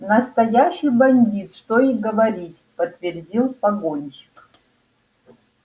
настоящий бандит что и говорить подтвердил погонщик